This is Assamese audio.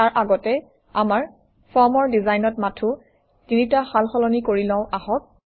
তাৰ আগতে আমাৰ ফৰ্মৰ ডিজাইনত মাথোঁ তিনিটা সাল সলনি কৰি লওঁ আহক